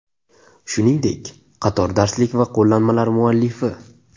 Shuningdek, qator darslik va qo‘llanmalar muallifi.